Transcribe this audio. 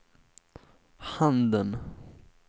handen